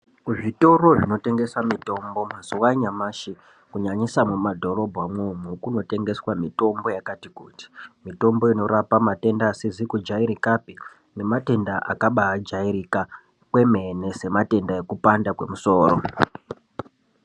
Kuzvitoro zvinotengesa mitombo mazuwa anyamashi kunyanyisa muma dhorobha umwomwo kuno tengeswa mitombo yakati kutii , mitombo inorapa matenda asizi kujairika pi nematenda akaba jairika kwemene sematenda ekupanda kwemusoro.